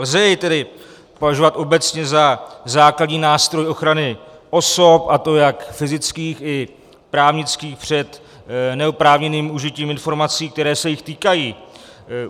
Lze jej tedy považovat obecně za základní nástroj ochrany osob, a to jak fyzických i právnických, před neoprávněným užitím informací, které se jich týkají.